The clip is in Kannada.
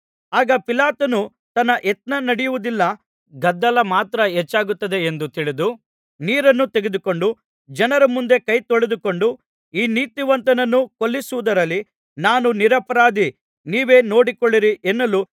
ಆಗ ಪಿಲಾತನು ತನ್ನ ಯತ್ನ ನಡೆಯುವುದಿಲ್ಲ ಗದ್ದಲ ಮಾತ್ರ ಹೆಚ್ಚಾಗುತ್ತದೆ ಎಂದು ತಿಳಿದು ನೀರನ್ನು ತೆಗೆದುಕೊಂಡು ಜನರ ಮುಂದೆ ಕೈ ತೊಳೆದುಕೊಂಡು ಈ ನೀತಿವಂತನನ್ನು ಕೊಲ್ಲಿಸುವುದರಲ್ಲಿ ನಾನು ನಿರಪರಾಧಿ ನೀವೇ ನೋಡಿಕೊಳ್ಳಿರಿ ಎನ್ನಲು